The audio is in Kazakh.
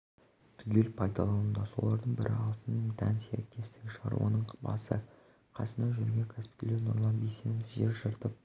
түгел пайдалануда солардың бірі алтын дән серіктестігі шаруаның басы-қасында жүрген кәсіпкер нұрлан бисенов жер жыртып